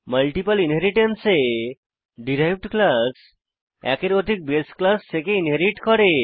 multiple inheritance এ derived class একের অধিক বাসে ক্লাস থেকে ইনহেরিট করে